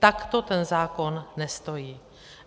Takto ten zákon nestojí.